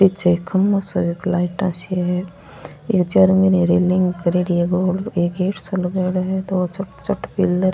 पीछे एक खम्भों सो है एक लाइटा सी है इरे चारो मेर रेलिंग करोड़ी है और एक गेट सो लगाइडो है दो छोटे छोटे पिलर --